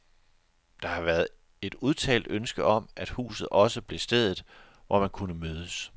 Der har været et udtalt ønske om, at huset også blev stedet, hvor man kunne mødes.